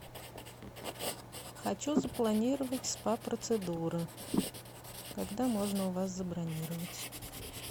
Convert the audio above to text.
хочу запланировать спа процедуры когда можно у вас забронировать